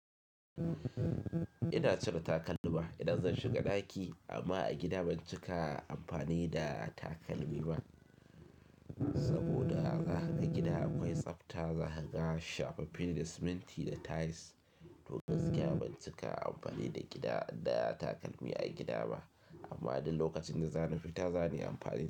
Ina cire takalmi idan zan shiga ɗaki amma a gida ban cika amfani da takalmi ba saboda zakaga gida akwai tsafta. Zagaga shafaffene da siminti da tiles. Don gaskiya ban cika amfani da gida da takalmi a gida ba amma idan lokacin da za ni fita za ni amfani da su.